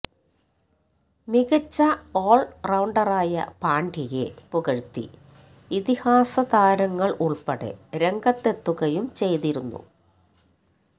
മികച്ച ഓള്റൌണ്ടറായ പാണ്ഡ്യയെ പുകഴ്ത്തി ഇതിഹാസ താരങ്ങള് ഉള്പ്പെടെ രംഗത്തെത്തുകയും ചെയ്തിരുന്നു